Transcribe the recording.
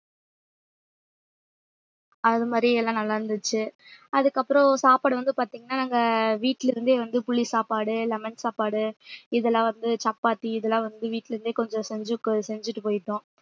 அது மாதிரி எல்லாம் நல்லாருந்துச்சு அதுக்கப்புறம் சாப்பாடு வந்து பார்த்தீங்கன்னா நாங்க வீட்டுல இருந்தே வந்து புளி சாப்பாடு lemon சாப்பாடு இதெல்லாம் வந்து சப்பாத்தி இதெல்லாம் வந்து வீட்ல இருந்தே கொஞ்சம் செஞ்சு கொ~ செஞ்சுட்டு போயிட்டோம்